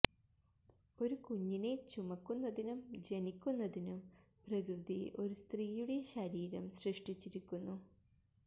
ഒരു കുഞ്ഞിൻറെ ചുമക്കുന്നതിനും ജനിക്കുന്നതിനും പ്രകൃതി ഒരു സ്ത്രീയുടെ ശരീരം സൃഷ്ടിച്ചിരിക്കുന്നു